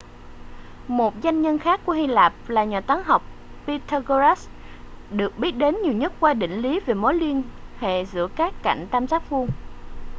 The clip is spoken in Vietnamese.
một danh nhân khác của hy lạp là nhà toán học pythagoras được biết đến nhiều nhất qua định lý về mối liên hệ giữa các cạnh tam giác vuông